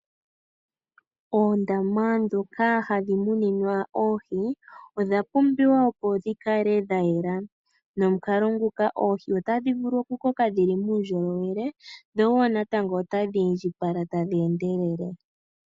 Oondama ndhoka hadhi muninwa oohi odha pumbiwa opo dhi kale dha yela. Nomukalo nguka oohi otadhi vulu okukoka dhi li muundjolowele, dho wo natango otadhi indjipala tadhi endelele.